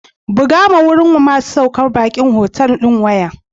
Bugawa wurin masu saukar baki a otal ɗin waya.